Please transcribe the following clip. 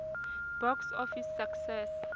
box office success